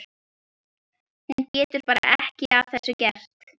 Hún getur bara ekki að þessu gert.